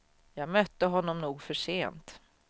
Jag mötte honom nog för sent.